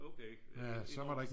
Okay